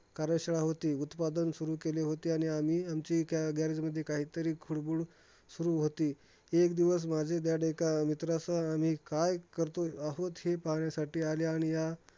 कार्यासेवा होती. उत्पादन सुरु केले होते आणि आमची garage मध्ये काहीतरी खूळबुळ सुरु होती. एक दिवस माझे dad एका मित्रासोबत, आम्ही काय करतो आहोत? हे पाहण्यासाठी आले आणि या